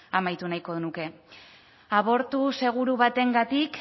amaitu nahiko nuke abortu seguru batengatik